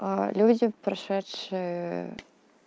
люди прошедшие